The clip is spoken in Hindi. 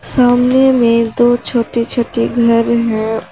सामने में दो छोटे छोटे घर हैं।